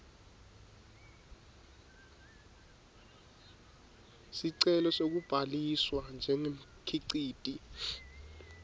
sicelo sekubhaliswa njengemkhiciti